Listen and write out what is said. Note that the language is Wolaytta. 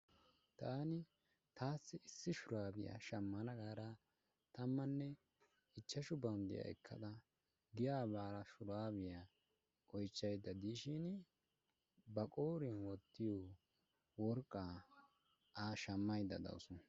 Taan taassi issi shuraabiya shammana gaada tamanne ichchashu bawunddiya giyaa baada shuraabiya oychchaydda diishin ba qooriyaan wottiyo worqqa a shammaydda dawus.